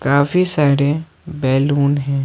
काफी सारे बैलून हैं।